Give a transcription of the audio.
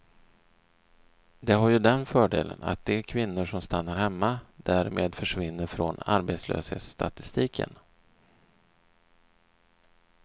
Det har ju den fördelen att de kvinnor som stannar hemma därmed försvinner från arbetslöshetsstatistiken.